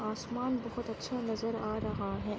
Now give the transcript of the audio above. आसमान बोहोत अच्छा नजर आ रहा है।